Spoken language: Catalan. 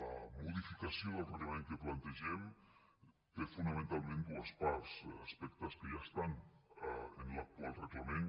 la modificació del reglament que plantegem té fonamentalment dues parts aspectes que ja estan en l’actual reglament